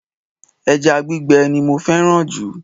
Eja gbígbe ni mo féràn jù